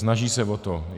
Snaží se o to.